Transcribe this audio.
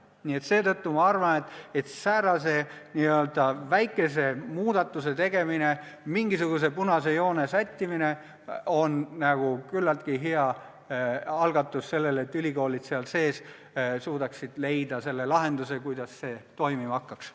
Nii et seetõttu ma arvan, et säärase n-ö väikese muudatuse tegemine – mingisuguse punase joone tõmbamine – on üsna hea algatus sellele, et ülikoolid seal sees suudaksid leida lahenduse, kuidas see toimima hakkaks.